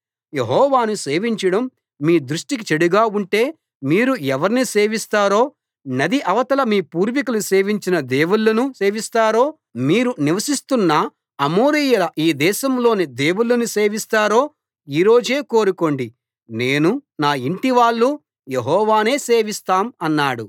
యెహోవాను సేవించడం మీ దృష్టికి చెడుగా ఉంటే మీరు ఎవర్ని సేవిస్తారో నది అవతల మీ పూర్వీకులు సేవించిన దేవుళ్ళను సేవిస్తారో మీరు నివసిస్తున్నఅమోరీయుల ఈ దేశంలోని దేవుళ్ళను సేవిస్తారో ఈ రోజే కోరుకోండి నేనూ నా ఇంటివాళ్ళూ యెహోవానే సేవిస్తాం అన్నాడు